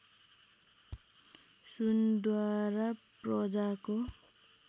सुनद्वारा प्रजाको